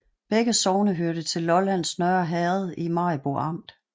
Begge sogne hørte til Lollands Nørre Herred i Maribo Amt